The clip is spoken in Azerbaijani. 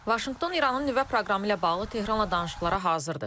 Vaşinqton İranın nüvə proqramı ilə bağlı Tehranla danışıqlara hazırdır.